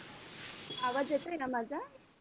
आवाज येतोय ना माझा